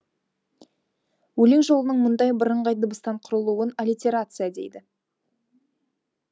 өлең жолының мұндай бірыңғай дыбыстан құрылуын аллитерация дейді